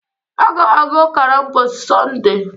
Aga m aga Ụka ​​na mbọsi Sọnde